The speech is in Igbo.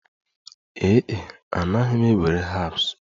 Ee e, anaghị m ewere herbs